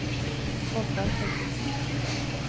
Oddvar Thorkildsen